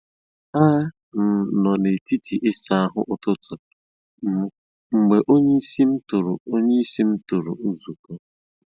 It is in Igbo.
A m nọ n’etiti isa ahu ụtụtụ m mgbe onyeisi m tụrụ onyeisi m tụrụ nzukọ